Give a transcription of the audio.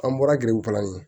An bɔra giriw kalanni